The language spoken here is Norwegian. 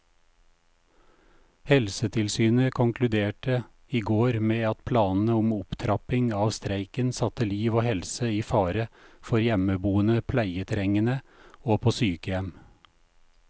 Helsetilsynet konkluderte i går med at planene om opptrapping av streiken satte liv og helse i fare for hjemmeboende pleietrengende og på sykehjem.